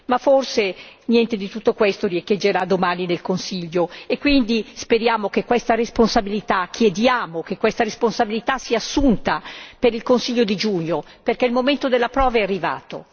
Ma forse niente di tutto questo riecheggerà domani nel Consiglio e quindi speriamo che questa responsabilità, chiediamo che questa responsabilità sia assunta per il Consiglio di giugno, perché il momento della prova è arrivato.